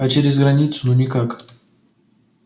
а через границу никак